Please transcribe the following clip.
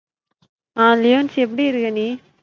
ஆஹ் லியான்ஸ் எப்டி இருக்க நீ?